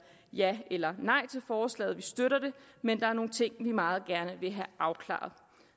ja eller nej til forslaget for vi støtter det men der er nogle ting vi meget gerne vil have afklaret